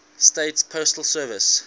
states postal service